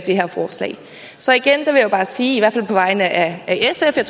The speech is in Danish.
det her forslag så igen vil jeg bare sige på vegne af sf og